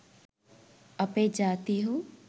අපේ ජාතීහු